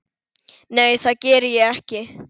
Nei, það geri ég ekki.